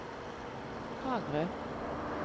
Kragerø